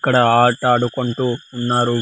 ఇక్కడ ఆట ఆడుకుంటూ ఉన్నారు.